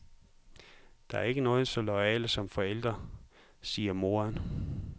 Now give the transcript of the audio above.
Der er ikke nogen så loyale som forældre, siger moderen.